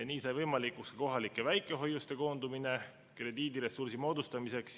Nii sai võimalikuks kohalike väikehoiuste koondamine krediidiressursi moodustamiseks.